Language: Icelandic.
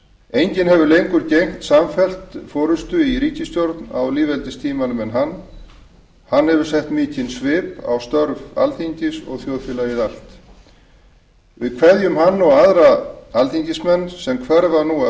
enginn hefur lengur gegnt samfellt forustu í ríkisstjórn á lýðveldistímanum en hann hann hefur sett mikinn svip á störf alþingis og þjóðfélagið allt við kveðjum hann og aðra alþingismenn sem hverfa nú af